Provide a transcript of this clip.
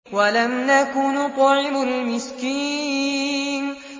وَلَمْ نَكُ نُطْعِمُ الْمِسْكِينَ